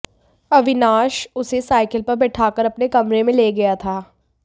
अविनाश उसे साइकिल पर बैठाकर अपने कमरे में ले गया था